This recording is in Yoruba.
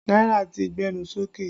Náírà ti gbẹnu sókè